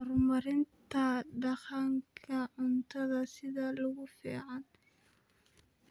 Horumarinta Dhaqanka Cuntada sida ugu fiican.